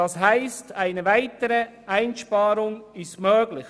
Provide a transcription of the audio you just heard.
Das heisst, eine weitere Einsparung ist möglich.